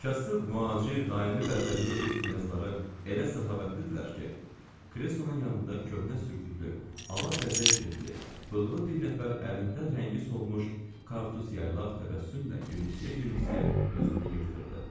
Kasıb mühacir, daimi bədbəxtlik rus knyazları elə səxavətlidirlər ki, kresonun yanında köhnə sürtüklü, ala bəzək jiletli, bığlı bir nəfər əlində rəngi solmuş kartuz yaylaq təbəssümlə gülümsəyə-gülümsəyə özünü yırtırdı.